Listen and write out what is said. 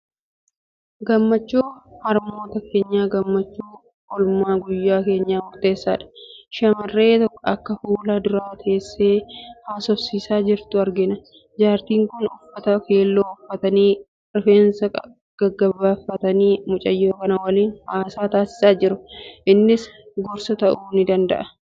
Gammachuun harmootii keenyaa gammachuu oolmaa guyyaa keenyaaf murteessaadha. Shamarree akkoo fuula dura teessee haasofsiisaa jirtu argina. Jaartiin kun uffata keelloo uffatanii, rifeensa gabaabfatanii mucayyoo kana waliin haasaa taasisaa jiru. Innis gorsa ta'uu ni danda'a.